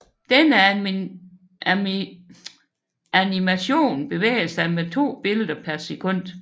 Denne animation bevæger sig med to billeder per sekund